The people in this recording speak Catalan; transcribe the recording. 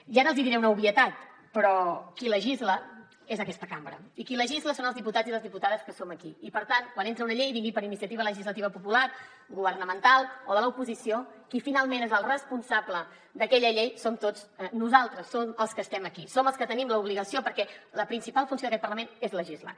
i ara els diré una obvietat però qui legisla és aquesta cambra i qui legisla són els diputats i les diputades que som aquí i per tant quan entra una llei vingui per iniciativa legislativa popular governamental o de l’oposició qui finalment és el responsable d’aquella llei som tots nosaltres som els que estem aquí som els que tenim l’obligació perquè la principal funció d’aquest parlament és legislar